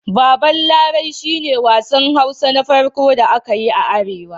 Baban Larai shi ne wassan Hausa Na farƙo da aka yi a Arewa.